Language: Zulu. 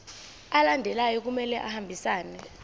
alandelayo kumele ahambisane